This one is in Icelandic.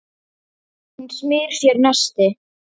Hún smyr sér nesti.